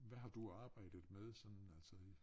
Hvad har du arbejdet med sådan altså i